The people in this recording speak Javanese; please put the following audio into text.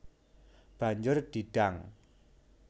Banjur di dang